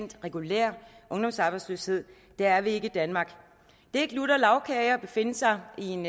regulær ungdomsarbejdsløshed dér er vi ikke i danmark det er ikke lutter lagkage at befinde sig i en